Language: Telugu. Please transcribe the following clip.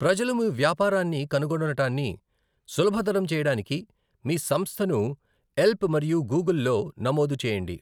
ప్రజలు మీ వ్యాపారాన్ని కనుగొనడాన్ని సులభతరం చేయడానికి మీ సంస్థను యెల్ప్ మరియు గూగుల్లో నమోదు చేయండి.